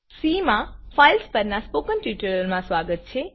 C માં filesફાઈલ્સ પરના સ્પોકન ટ્યુટોરીયલમાં સ્વાગત છે